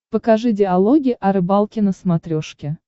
покажи диалоги о рыбалке на смотрешке